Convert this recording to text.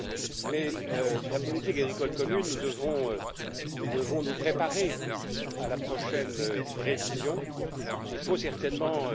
Cela dit, en ce qui concerne la politique agricole commune, nous devons nous préparer à la prochaine révision. Il faut certainement